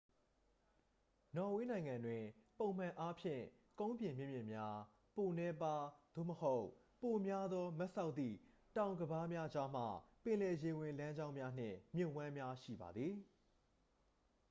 နော်ဝေးနိုင်ငံတွင် ပုံမှန်အားဖြင့် ကုန်းပြင်မြင့်မြင့်များ ပိုနည်းပါး သို့မဟုတ် ပိုများသော မတ်စောက်သည့် တောင်ကမ်းပါးများကြားမှ ပင်လယ်ရေဝင်လမ်းကြောင်းများ နှင့် မြစ်ဝှမ်းများ ရှိပါသည်